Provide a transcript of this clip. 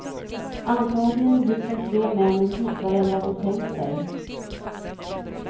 Antagligen gick de tre männen djupare än vad de tänkt sig.